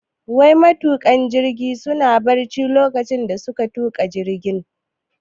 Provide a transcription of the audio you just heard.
Wai matuƙan jirgin suna barci lokacin da suka tuka jirgin?